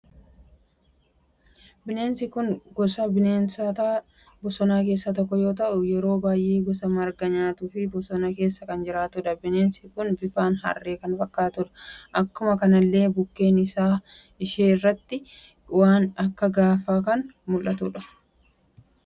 Bineensi kun gosa bineensoota bosona keessa tokko yoo taatu, yeroo baay'ee gosa margaa kan nyaattuu fi bosona keesaa kan jiraattudha. Bineensi kun bifan harree kan fakkattudha. Akkuma kanallee bukkee afaan ishee irratti waan akka gaafa kan muldhatudha.